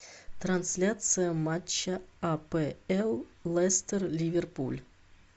трансляция матча апл лестер ливерпуль